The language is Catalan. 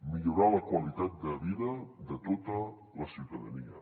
millorar la qualitat de vida de tota la ciutadania